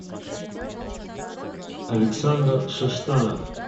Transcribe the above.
александр шиштанов